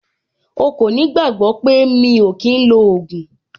O kò ní gbàgbọ́ pé mi ò kí ń lo ògùn.